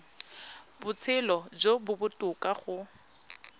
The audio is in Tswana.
botshelo jo bo botoka go